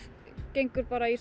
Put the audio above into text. gengur bara í